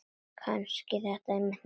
Kannski var þetta einmitt málið.